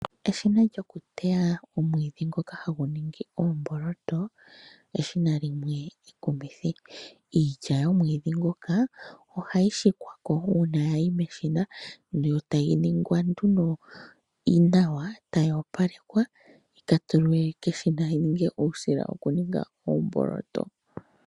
Eshina lyokuteya omwiidhi ngoka hagu nungi oomboloto, eshina limwe ekumithi, iilya yomwiidhi ngoka ohayi shikwa ko uuna yayi meshina ndee tayi ningwa nduno nawa, tayi opalekwa yi ka tsuwe keshina yi ninge uusila wokuninga oomboloto.